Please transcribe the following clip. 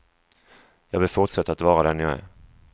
Jag vill fortsätta att vara den jag är.